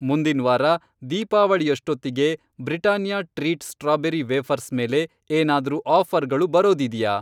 ಮುಂದಿನ್ ವಾರ ದೀಪಾವಳಿಯಷ್ಟೊತ್ತಿಗೆ ಬ್ರಿಟನಿಯಾ ಟ್ರೀಟ್ ಸ್ಟ್ರಾಬೇರಿ ವೇಫರ್ಸ್ ಮೇಲೆ ಏನಾದ್ರೂ ಆಫ಼ರ್ಗಳು ಬರೋದಿದೆಯಾ?